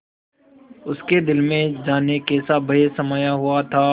उसके दिल में जाने कैसा भय समाया हुआ था